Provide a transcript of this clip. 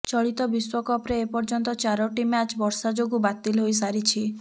ଚଳିତ ବିଶ୍ୱକପରେ ଏପର୍ଯ୍ୟନ୍ତ ଚାରୋଟି ମ୍ୟାଚ୍ ବର୍ଷା ଯୋଗୁ ବାତିଲ ହୋଇସାରିଛି